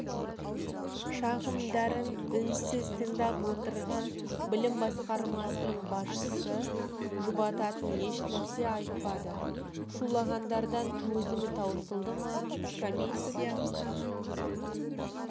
шағымдарын үнсіз тыңдап отырған білім басқармасының басшысы жұбататын ешнәрсе айтпады шулағандардан төзімі таусылды ма комиссия